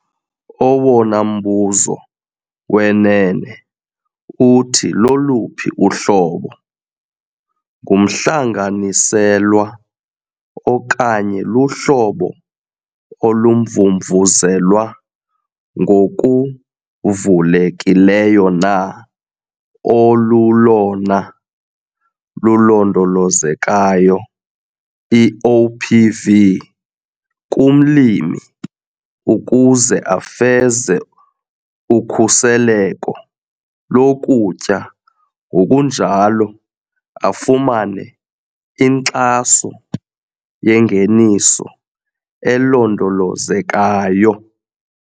Owona mbuzo wenene uthi loluphi uhlobo- ngumhlanganiselwa okanye luhlobo olumvumvuzelwa ngokuvulekileyo na olulolona lulondolozekayo, i-OPV, kumlimi ukuze afeze ukhuseleko lokutya ngokunjalo afumane inkxaso yengeniso elondolozekayo.